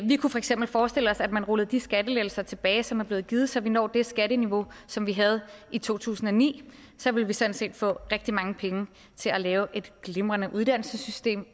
vi kunne for eksempel forestille os at man rullede de skattelettelser tilbage som er blevet givet så vi når det skatteniveau som vi havde i to tusind og ni så ville vi sådan set få rigtig mange penge til at lave et glimrende uddannelsessystem